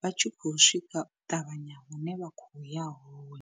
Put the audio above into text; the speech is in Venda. vha tshi khou swika ṱavhanya hune vha khoya hone.